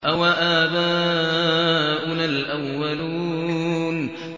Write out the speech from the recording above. أَوَآبَاؤُنَا الْأَوَّلُونَ